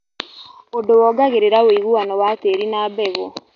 ũndũ wongagĩrĩra woiguano wa tĩri na mbegũ